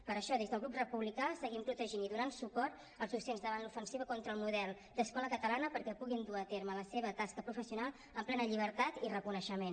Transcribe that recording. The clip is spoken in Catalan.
per això des del grup republicà seguim protegint i donant suport als docents davant l’ofensiva contra el model d’escola catalana perquè puguin dur a terme la seva tasca professional amb plena llibertat i reconeixement